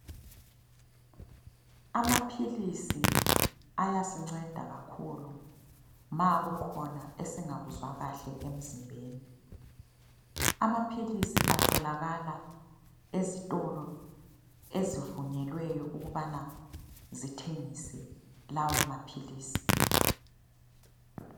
Amaphilisi ayasinceda kakhulu ma kukhona esingakuzwa kahle emzimbeni. Amaphilisi atholakaka ezitolo ezivunyelweyo ukubana zithengise lawo maphilisi.